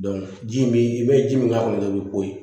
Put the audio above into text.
ji in bɛ i bɛ ji min k'a kɔnɔ i bɛ ko ye